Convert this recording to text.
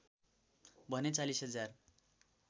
भने ४० हजार